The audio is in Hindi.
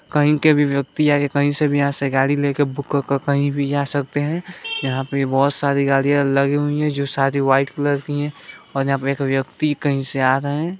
कहीं के भी व्यक्ति आके कहीं से भी गाड़ी ले के बुक करके कही भी जा सकते है यहा पे बहुत सारी गाड़िया लगी हुई है जो सारी व्हाइट कलर की है और यहा पे एक व्यक्ति कहीं से आ रहे है।